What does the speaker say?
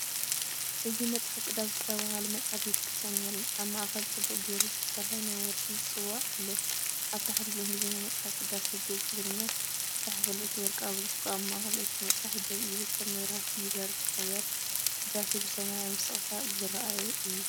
እዚ“መጽሓፍ ቅዳሴ”ዝተባህለ መጽሓፍ ቤተ ክርስቲያን የርኢ። ኣብ ማእከል ጽቡቕ ጌሩ ዝተሰርሐ ናይ ወርቂ ጽዋእ ኣሎ። ኣብ ታሕቲ ብእንግሊዝኛ“መጽሓፍ ቅዳሴ-ግእዝ፣ ትግርኛ”ተጻሒፉ ኣሎ። እቲ ወርቃዊ ብርጭቆ ኣብ ማእከል እቲ መጽሓፍ ደው ኢሉ ከም መብራህቲ ይበርህ ነበረ፤ ቅዳሴ ብሰማያዊ ስቕታ ዝረአ እዩ።